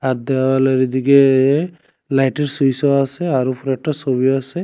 আর দেওয়ালের দিকে লাইটের সুইসও আসে আর উপরে একটা সবিও আসে।